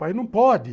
Pai, não pode!